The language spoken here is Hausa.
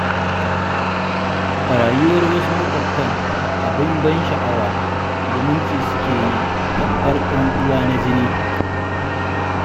Rayuwar wasu maƙwabtan abin ban sha'awa, zumunci suke yi tamfar 'yan uwa na jini